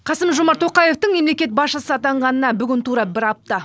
қасым жомарт тоқаевтың мемлекет басшысы атанғанына бүгін тура бір апта